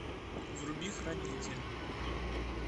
вруби хранитель